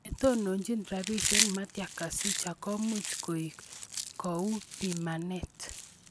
Netononjin rabisiek, Matia Kasaija komuch koek kou pimanet